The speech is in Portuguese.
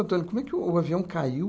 como é que o avião caiu?